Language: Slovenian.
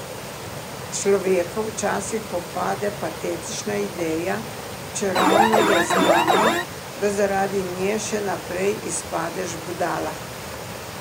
Človeka včasih popade patetična ideja, čeravno je znano, da zaradi nje še najprej izpadeš budala.